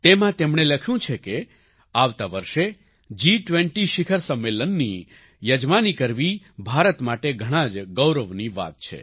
તેમાં તેમણે લખ્યું છે કે આવતા વર્ષે જી20 શિખર સંમેલનની યજમાની કરવી ભારત માટે ઘણાં જ ગૌરવની વાત છે